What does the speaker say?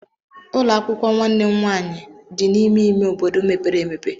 Ụlọ akwụkwọ nwanne m nwaanyị dị n'ime ime obodo mepere emepe.